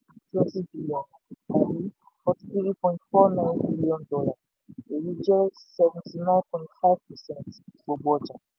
twenty triliọ̀nù tàbí forty three point four nine bílíọ̀nù èyí jẹ́ seventy nine point five percent gbogbo ọjà.